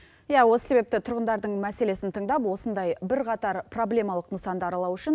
иә осы себепті тұрғындардың мәселесін тыңдап осындай бірқатар проблемалық нысанды аралау үшін